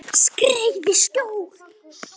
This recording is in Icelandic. Skreið í skjól.